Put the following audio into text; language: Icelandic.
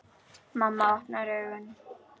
Mamma opnar augun.